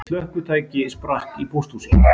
Slökkvitæki sprakk í pósthúsi